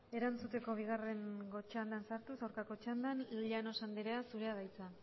erantzuteko bigarrengo txandan sartuz aurkako txandan llanos andrea zurea da hitza